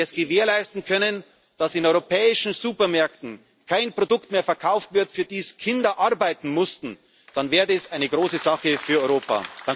reden. Wenn wir es gewährleisten können, dass in europäischen Supermärkten kein Produkt mehr verkauft wird, für das Kinder arbeiten mussten, dann wäre es eine große Sache für Europa.